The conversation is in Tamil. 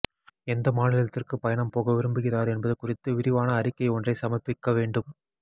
எந்த மாநிலத்திற்கு பயணம் போக விரும்புகிறார் என்பது குறித்து விரிவான அறிக்கை ஒன்றைச் சமர்பிக்க வேண்டும்